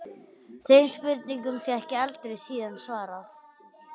Þeim spurningum fékk ég aldrei síðan svarað.